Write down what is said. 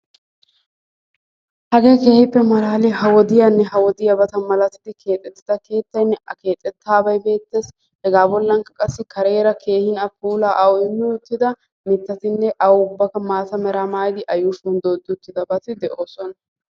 Hagge keehippe mallaliyaa ha wodiyaanne ha wodiyaaba malattidi keexetida keettaynne a keexettaabbay beettes. Hegabollanikka qassi kareera keehin awu puulla awu immi uttida mittatinne awu ubakka maatta mera mayaadi a yuushshuwan doodi uttidabatti de'osonna.